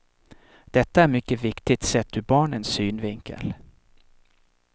Detta är mycket viktigt sett ur barnens synvinkel.